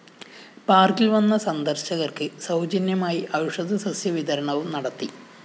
പാര്‍ക്കില്‍ വന്ന സന്ദര്‍ശകര്‍ക്ക് സൗജന്യമായി ഔഷധസസ്യവിതരണവും നടത്തി